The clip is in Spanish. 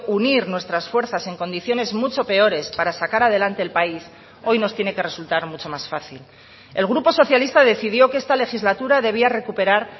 unir nuestras fuerzas en condiciones mucho peores para sacar adelante el país hoy nos tiene que resultar mucho más fácil el grupo socialista decidió que esta legislatura debía recuperar